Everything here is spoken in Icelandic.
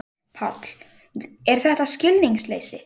Páll: Er þetta skilningsleysi?